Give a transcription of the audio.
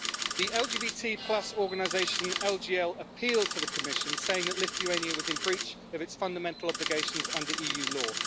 The LGBT organisation LGL appealed to the Commission, saying that Lithuania was in breach of its fundamental obligations under EU law.